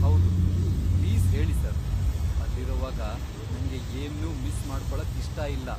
ಹೌದು, ಪ್ಲೀಸ್ ಹೇಳಿ ಸರ್, ಅಲ್ಲಿರೊವಾಗ ನಂಗೆ ಏನ್ನೂ ಮಿಸ್ ಮಾಡ್ಕೊಳಕ್ಕಿಷ್ಟ ಇಲ್ಲ.